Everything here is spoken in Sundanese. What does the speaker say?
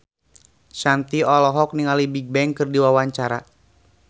Shanti olohok ningali Bigbang keur diwawancara